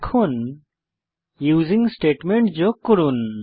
এখন using statement যোগ করুন